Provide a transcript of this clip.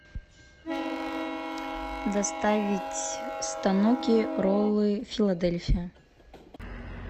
доставить станоки роллы филадельфия